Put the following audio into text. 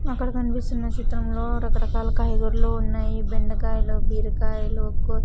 అక్కడ కన్పిస్తున్న చిత్రంలో రకరకాల కాయగూరలు ఉన్నాయి బెండకాయలు బీరకాయలు కో--